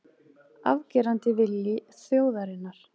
Afgerandi vilji þjóðarinnar